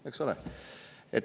Noh, eks ole.